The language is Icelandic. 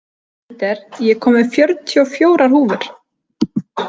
Peter, ég kom með fjörutíu og fjórar húfur!